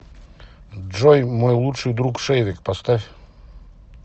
джой мой лучший друг шейвек поставь